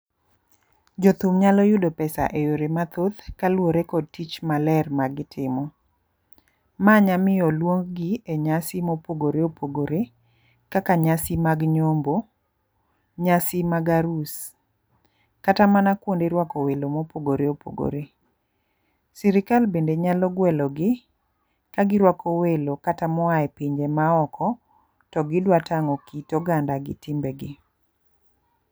Jothum nyalo yudo pesa e yore mathoth kaluwore kod tich maler ma gitimo. Manya miyo oluong gi e nyasi mopogore opogore kaka nyasi mag nyombo, nyasi mag arus kata mana kuonde rwako welo mopogore opogore. Sirikal bende nyalo gwelo gi ka girwako welo kata moaye pinje ma oko to gidwa tang'o kit oganda gi timbe gi.